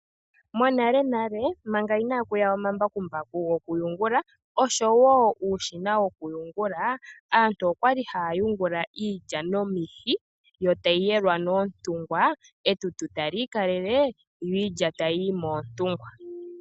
Monalenale manga inaakuya omambakumbaku go kuyungula oshowo uushina woku yungula, aantu okwa li haya yungula iilya nomihi, yo tayi yelwa noontungwa, etutu tali ikalele, yo iilya tayi yi moontungwa.